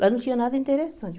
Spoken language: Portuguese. Lá não tinha nada interessante.